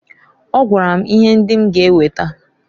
Ọ gwara m ihe ndị m ga eweta.